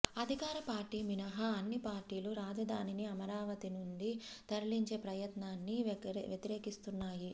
అధికార పార్టీ మినహా అన్ని పార్టీలు రాజధానిని అమరావతి నుండి తరలించే ప్రయత్నాన్ని వ్యతిరేకిస్తున్నాయి